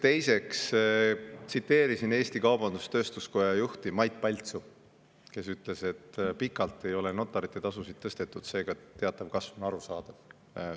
Teiseks, tsiteerisin Eesti Kaubandus-Tööstuskoja juhti Mait Paltsu, kes ütles, et pikalt ei ole notarite tasusid tõstetud, seega teatav kasv on arusaadav.